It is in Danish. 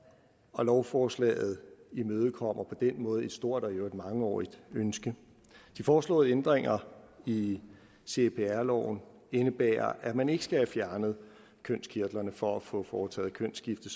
og lovforslaget imødekommer på den måde et stort og i øvrigt mangeårigt ønske de foreslåede ændringer i cpr loven indebærer at man ikke skal have fjernet kønskirtlerne for at få foretaget kønsskifte